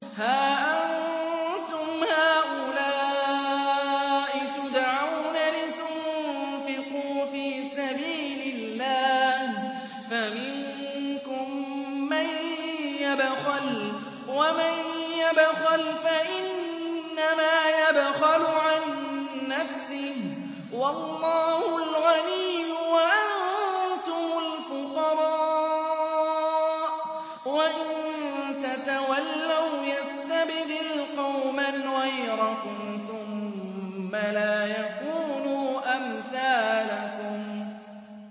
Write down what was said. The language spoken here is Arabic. هَا أَنتُمْ هَٰؤُلَاءِ تُدْعَوْنَ لِتُنفِقُوا فِي سَبِيلِ اللَّهِ فَمِنكُم مَّن يَبْخَلُ ۖ وَمَن يَبْخَلْ فَإِنَّمَا يَبْخَلُ عَن نَّفْسِهِ ۚ وَاللَّهُ الْغَنِيُّ وَأَنتُمُ الْفُقَرَاءُ ۚ وَإِن تَتَوَلَّوْا يَسْتَبْدِلْ قَوْمًا غَيْرَكُمْ ثُمَّ لَا يَكُونُوا أَمْثَالَكُم